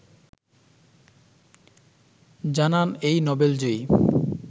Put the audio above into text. জানান এই নোবেলজয়ী